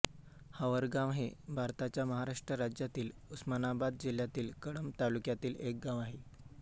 हावरगाव हे भारताच्या महाराष्ट्र राज्यातील उस्मानाबाद जिल्ह्यातील कळंब तालुक्यातील एक गाव आहे